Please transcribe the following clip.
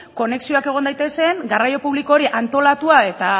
konexioak egon daitezen garraio publiko hori antolatua eta